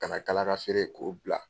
Ka na kalaga feere k'o bila.